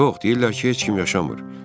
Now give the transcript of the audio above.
Yox, deyirlər ki, heç kim yaşamır.